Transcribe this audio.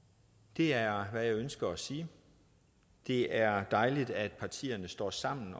det er hvad jeg ønsker at sige det er dejligt at partierne står sammen